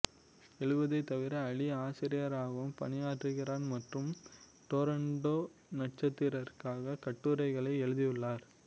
எழுதுவதைத் தவிர அலி ஆசிரியராகவும் பணியாற்றுகிறார் மற்றும் டொராண்டோ நட்சத்திரத்திற்காக கட்டுரைகளை எழுதியுள்ளார்